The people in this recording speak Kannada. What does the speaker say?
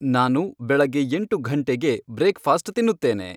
ನಾನು ಬೆಳಗ್ಗೆ ಎಂಟು ಘಂಟೆಗೆ ಬ್ರೇಕ್ಫಾಸ್ಟ್ ತಿನ್ನುತ್ತೇನೆ